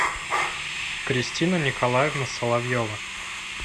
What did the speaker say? кристина николаевна соловьева